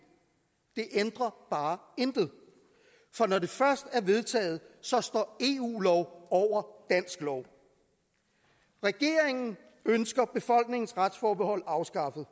det ændrer bare intet for når det først er vedtaget står eu lov over dansk lov regeringen ønsker befolkningens retsforbehold afskaffet